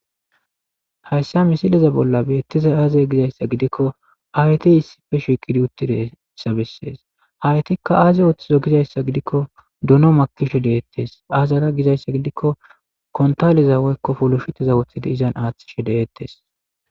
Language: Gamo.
hayssa misileza bolla beettiza aazey gizayssa gidikko ayti issife shikidi utti deessa bessees haytikka aazi wooththizo gizayssa gidikko duno makisho deettes aazara gizayssa gidikko kontaliza woykko poloshiteza wothidi izan aaththishe deettes